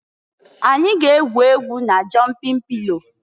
Anyị ga-egwu egwu na jọnpịn pịlo.